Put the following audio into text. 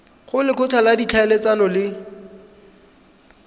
go lekgotla la ditlhaeletsano le